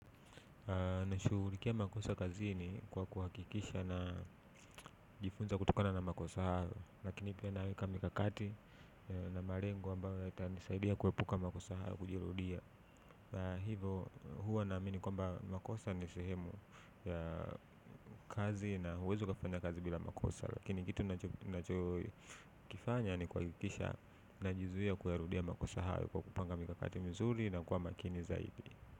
Nashughulikia makosa kazini kwa kuhakikisha na najifunza kutokana na makosa yangu lakini pia naweka mikakati na malengo ambayo yatakayonisaidia kuepuka makosa hayo kujirudia. Hivo huwa naamini kwamba makosa ni sehemu ya kazi na huwezi kafanya kazi bila makosa. Lakini kitu nachokifanya ni kuhakikisha najizuia kuyarudia makosa hayo kwa kupanga mikakati mizuri na kwa makini zaidi.